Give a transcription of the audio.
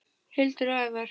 Hildur og Ævar.